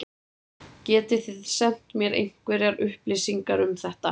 Getið þið sent mér einhverjar upplýsingar um þetta?